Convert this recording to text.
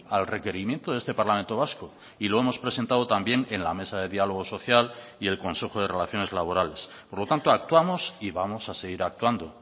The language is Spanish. al requerimiento de este parlamento vasco y lo hemos presentado también en la mesa de diálogo social y el consejo de relaciones laborales por lo tanto actuamos y vamos a seguir actuando